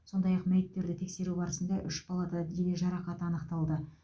сондай ақ мәйіттерді тексеру барысында үш балада дене жарақаты анықталды